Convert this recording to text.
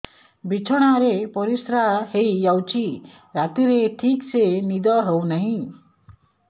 ବିଛଣା ରେ ପରିଶ୍ରା ହେଇ ଯାଉଛି ରାତିରେ ଠିକ ସେ ନିଦ ହେଉନାହିଁ